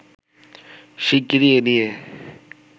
শিগগিরই এ নিয়ে